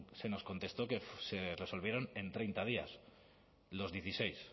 se nos contestó que se resolvieron en treinta días los dieciséis